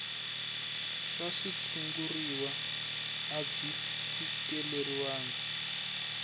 swa switshuriwa a byi fikeleriwangi